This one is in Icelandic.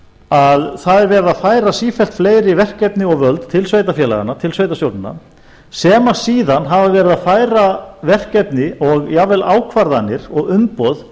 að það er verið að færa sífellt fleiri verkefni og völd til sveitarfélaganna til sveitarstjórnanna sem síðan hafa verið að færa verkefni og jafnvel ákvarðanir og umboð